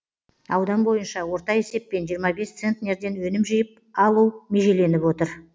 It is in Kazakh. аудан бойынша орта есеппен жиырма бес центнерден өнім жиып алу межеленіп отыр